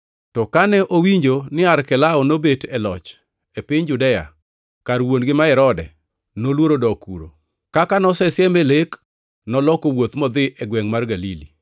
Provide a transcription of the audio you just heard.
To kane owinjo ni Arkelao nobet e loch e piny Judea kar wuon-gi ma Herode, noluoro dok kuno. Kaka nosesieme e lek, noloko wuoth modhi e gwengʼ mar Galili,